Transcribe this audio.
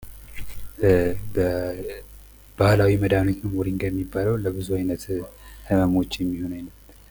በባህላዊ መድሃኒት ሞሪንጋ የሚባለው ለብዙ አይነት ህመሞች የሚሆን።